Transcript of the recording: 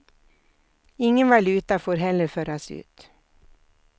Ingen valuta får heller föras ut.